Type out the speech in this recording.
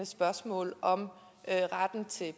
spørgsmål om retten til